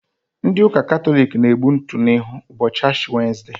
Ndị ụka Katọlik na-egbu ntụ n'ihu ụbọchị Ashi wenesde.